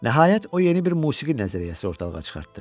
Nəhayət o yeni bir musiqi nəzəriyyəsi ortaya çıxartdı.